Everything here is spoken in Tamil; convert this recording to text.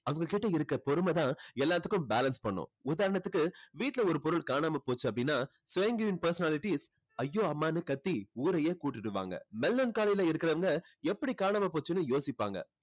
அவங்க கிட்ட இருக்க பொறுமை தான் எல்லாத்துக்கும் balance பண்ணும். உதாரணத்துக்கு வீட்ல ஒரு பொருள் காணாம போச்சு அப்படின்னா sanguine personalities ஐயோ அம்மான்னு கத்தி ஊரையே கூட்டிடுவாங்க. melancholy ல இருக்கிறவங்க எப்படி காணாம போச்சுன்னு யோசிப்பாங்க.